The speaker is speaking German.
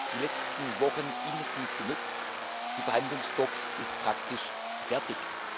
die letzten Wochen intensiv genutzt, die Verhandlungsbox ist praktisch fertig.